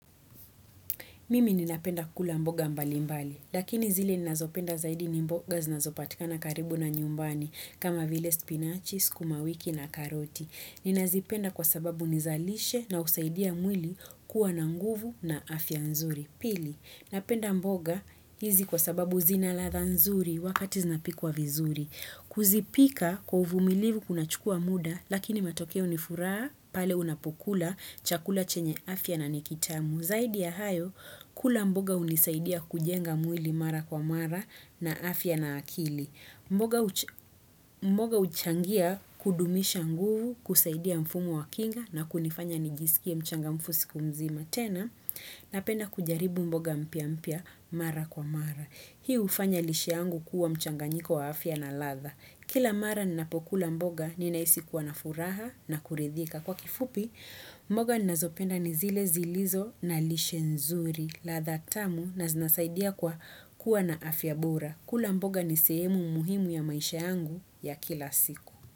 Mimi ninapenda kula mboga mbali mbali, lakini zile ninazopenda zaidi ni mboga zinazopatikana karibu na nyumbani kama vile spinachi, sukumawiki na karoti. Ninazipenda kwa sababu ni za lishe na husaidia mwili kuwa na nguvu na afya nzuri. Pili, napenda mboga hizi kwa sababu zina ladha nzuri wakati zinapikwa vizuri. Kuzipika kwa uvumilivu kuna chukua muda, lakini matokeo ni furaha, pale unapokula, chakula chenye afya na ni kitamu. Zaidi ya hayo, kula mboga hunisaidia kujenga mwili mara kwa mara na afya na akili. Mboga huchangia kudumisha nguvu kusaidia mfumo wa kinga na kunifanya nijisikie mchangamfu siku mzima tena napenda kujaribu mboga mpya mpya mara kwa mara. Hii hufanya lishe yangu kuwa mchanganyiko wa afya na ladha. Kila mara ninapokula mboga ninahisi kuwa na furaha na kuridhika. Kwa kifupi, mboga ninazopenda ni zile zilizo na lishe nzuri. Ladha tamu na zinasaidia kwa kuwa na afya bora. Kula mboga ni sehemu muhimu ya maisha yangu ya kila siku.